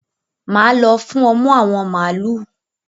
Máa lọ fún ọmú ạ̀wọn màálu.